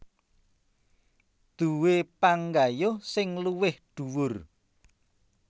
Duwé panggayuh sing luwih dhuwur